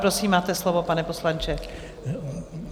Prosím, máte slovo, pane poslanče.